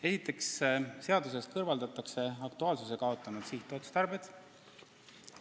Esiteks, seadusest kõrvaldatakse aktuaalsuse kaotanud sihtotstarbed.